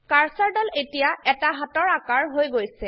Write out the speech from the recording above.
কাৰ্সাৰদাল এতিয়া এটা হাতৰ আকাৰ হৈ গৈছে